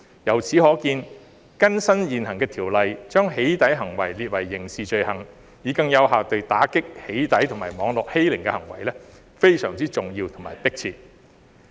由此可見，更新現行條例，將"起底"行為訂為刑事罪行，以更有效地遏止"起底"及網絡欺凌的行為，非常重要和迫切。